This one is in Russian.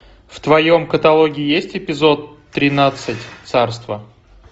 в твоем каталоге есть эпизод тринадцать царство